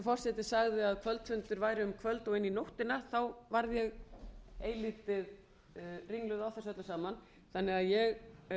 forseti sagði að kvöldfundir væru um kvöld og inn í nóttina þá varð ég eilítið ringluð á þessu öllu saman þannig að ég